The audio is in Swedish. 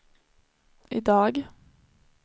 idag